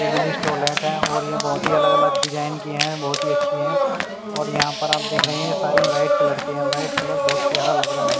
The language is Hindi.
इंग्लिश टॉयलेट है और ये बहुत ही अलग अलग डिज़ाइन की है और यहाँ पर आप देख रहे है सारी व्हाईट कलर की है व्हाईट कलर बहोत प्यारा लग्ग रहा है ।